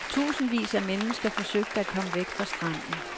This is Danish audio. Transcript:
Titusindvis af mennesker forsøgte at komme væk fra stranden.